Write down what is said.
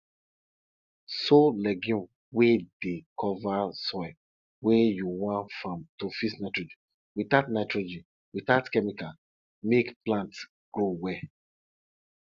sow legume wey dey cover soil wey you wan farm to fix nitrogen without nitrogen without chemical make plants grow well